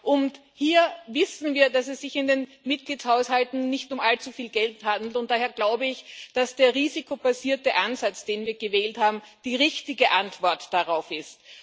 Und hier wissen wir, dass es sich in den Mitgliedshaushalten nicht um allzu viel Geld handelt, und daher glaube ich, dass der risikobasierte Ansatz, den wir gewählt haben, die richtige Antwort darauf ist.